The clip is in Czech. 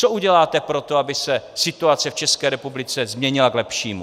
Co uděláte pro to, aby se situace v České republice změnila k lepšímu?